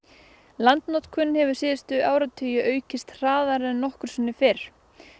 landnotkun hefur síðustu áratugi aukist hraðar en nokkru sinni fyrr